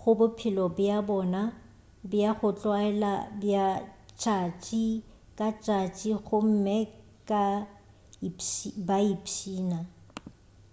go bophelo bja bona bja go tlwaelega bja tšatši-ka-tšatši gomme ba ipšhina